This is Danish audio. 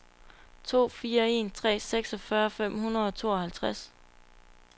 to fire en tre seksogfyrre fem hundrede og tooghalvtreds